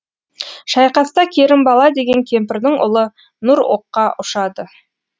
шайқаста керімбала деген кемпірдің ұлы нұр оққа ұшады